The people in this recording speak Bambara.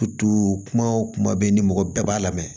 kuma o kuma bɛ ni mɔgɔ bɛɛ b'a la mɛ